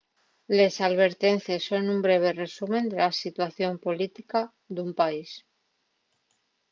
les alvertencies son un breve resumen de la situación política d'un país